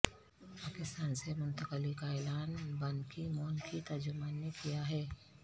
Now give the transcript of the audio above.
پاکستان سے منتقلی کا اعلان بانکی مون کی ترجمان نے کیا ہے